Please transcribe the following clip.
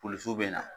Polisiw bɛ na